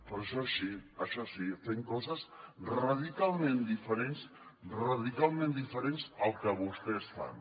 però això sí fent coses radicalment diferents radicalment diferents del que vostès fan